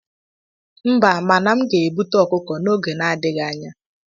Mba, mana m ga-ebute ọkụkọ n'oge adịghị anya.